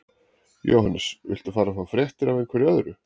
Jóhannes: Viltu fara að fá fréttir af einhverju öðru?